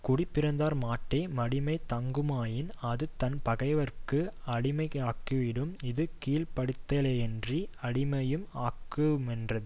குடிப்பிறந்தார்மாட்டே மடிமை தங்குமாயின் அது தன்பகைவர்க்கு அடிமையாக்கிவிடும் இது கீழ்ப்படுத்தலேயன்றி அடிமையும் ஆக்கு மென்றது